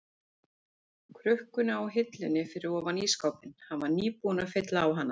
krukkuna á hillunni fyrir ofan ísskápinn, hann var nýbúinn að fylla á hana.